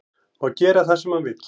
Má gera það sem hann vill